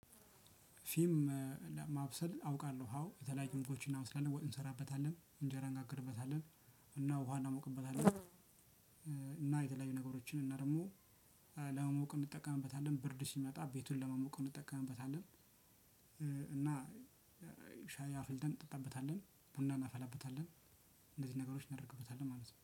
ፊም። ለማብሰል አውቃለሁ አው የተለያዩ ምግቦች እናበስላለን ወጥ እንሰራበታለን እንጀራ እንጋግርበታለን ውሃ እናሞቅበታለን። እና የተለያዩ ነገሮችን እና ደግሞ ለማሞቅ እንጠቀምበታለን ብርድ ሲመጣ ቤቱን ለመሞቅ እንጠቀምበታለን። እና ሻይ አፍልተን እንጠጠበጣለን ቡና እናፈላበታለን። እንደዚህ ነገሮች እናደርግበታለን ማለት ነው